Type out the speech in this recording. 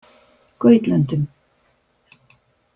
Gautlöndum